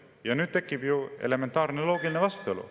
Ja nüüd tekib ju elementaarne loogiline vastuolu …